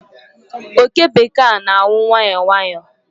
Oke bekee a n'anwu nwayọọ nwayọọ